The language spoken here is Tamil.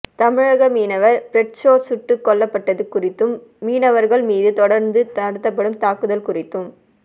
தமிழக மீனவர் பிரிட்சோ சுட்டுக் கொல்லப்பட்டது குறித்தும் மீனவர்கள் மீது தொடர்ந்து நடத்தப்படும் தாக்குதல் குறித்தும்